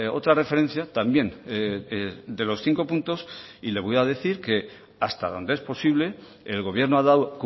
otra referencia también de los cinco puntos y le voy a decir que hasta donde es posible el gobierno ha dado